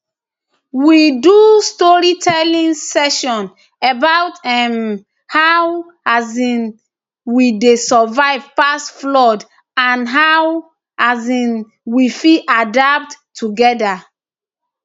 we do storytelling session about um how um we dey survive past floods and how um we fit adapt togeda